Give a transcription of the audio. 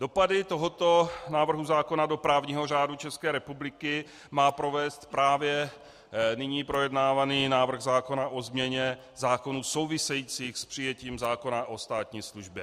Dopady tohoto návrhu zákona do právního řádu České republiky má provést právě nyní projednávaný návrh zákona o změně zákonů souvisejících s přijetím zákona o státní službě.